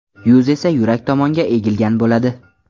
Yuz esa yurak tomonga egilgan bo‘ladi.